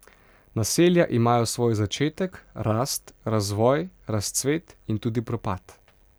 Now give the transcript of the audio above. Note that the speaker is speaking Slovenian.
Naselja imajo svoj začetek, rast, razvoj, razcvet in tudi propad.